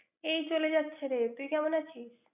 এই চলে যাচ্ছে রে। তুই কেমন আছিস?